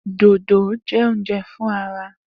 Dodo jẹ ounjẹ fun ara.